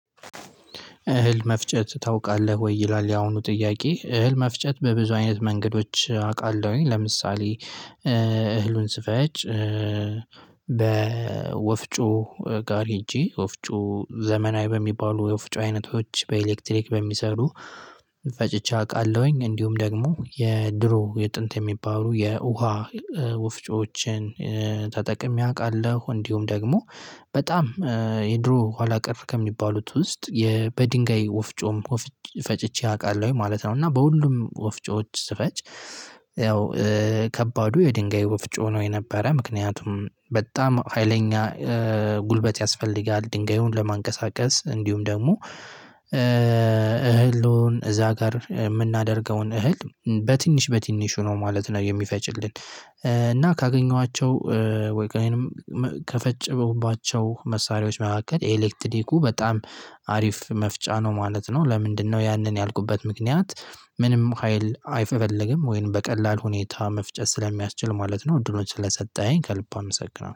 እህል መፍጨት ታውቃለህ ወይ ይላል ያሁኑ ጥያቄ እህል መፍጨት በብዙ አይነት መንገዶች አውቃለሁኝ ለምሳሌ እህሉን ስፈጭ በወፍጮ ጋር ሄጄ ወፍጮ ዘመናዊ በሚባሉ የወፍጮ አይነቶች በኤሌክትሪክ በሚሰሩ ፈጭቼ አውቃለሁኝ እንዲሁም ደግሞ የድሮ የጥንት የሚባሉ የውሃ ውፍጮዎችን ተጠቅሜ አውቃለሁ እንዲሁም ደግሞ በጣም የድሮ ኋላ ቀርፍ ከሚባሉት ውስጥ በድንጋይ ወፍጮም ፈጭቼ አውቃለሁ ማለት ነው። እና በሁሉም ወፍጮዎች ስፈጭ ያው ከባዱ የድንጋዩ በፍጹም ነው የነበረ ምክንያቱም በጣም ሀይለኛ ጉልበት ያስፈልጋል። ድንጋዩን ለማንቀሳቀስ እንዲሁም ደግሞ እህልን እዛ ጋር የምናደርገውን እህል በትንሽ በትንሹ ነው ማለት ነው የሚፈጭልን። እና ካገኘኋቸው ወይንም ከፈጨሁባቸው መሳሪያዎች መካከል ኤሌክትሪኩ በጣም አሪፍ መፍጫ ነው ማለት ነው። ለምንድነው ያንን ያልኩበት ምክንያት? ምንም ሀይል አይፈለግም ወይንም በቀላል ሁኔታ መፍጨት ስለሚያስችል ማለት ነው። እድሎች ስለሰጠኝ ከልብ አመሰግናለሁ